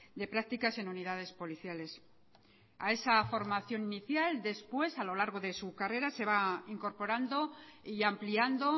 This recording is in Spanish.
de prácticas en unidades policiales a esa formación inicial después a lo largo de su carrera se va incorporando y ampliando